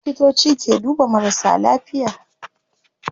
Likitoci ke duba marasa lafiya